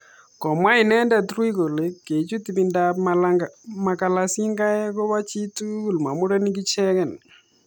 Komwa inendet Rui kole kechut ibindab makalasingaek koba chi tugul ma murenik ichegei.